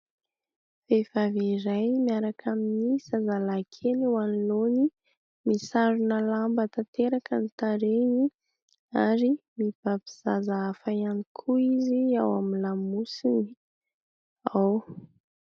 Vehivavy iray miaraka amin'ny zazalahy kely eo anoloany, misarona lamba tanteraka ny tarehiny ary mibaby zaza hafa ihany koa izy ao amin'ny lamosiny ao.